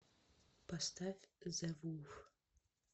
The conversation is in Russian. поставь зэ вулф